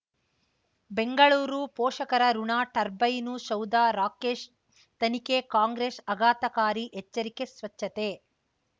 ಬೆಂಗಳೂರು ಪೋಷಕರಋಣ ಟರ್ಬೈನು ಸೌಧ ರಾಕೇಶ್ ತನಿಖೆ ಕಾಂಗ್ರೆಸ್ ಆಘಾತಕಾರಿ ಎಚ್ಚರಿಕೆ ಸ್ವಚ್ಛತೆ